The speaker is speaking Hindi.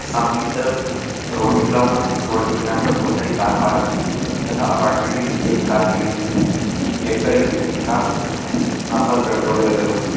सामने की तरफ रोड निकला हुआ है | रोड के किनारे पर बहुत सारी कार पार्क हैं तथा अपार्टमेंट के नीचे एक कार खड़ी हुई है। गेट (Gate) पर एक व्यक्ति खड़ा हैं | आसपास पेड़ पौधे लगे हुए हैं |